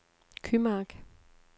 Kymark